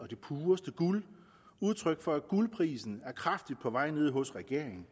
det pureste guld udtryk for at guldprisen er kraftigt på vej ned hos regeringen